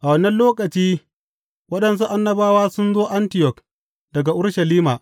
A wannan lokaci waɗansu annabawa sun zo Antiyok daga Urushalima.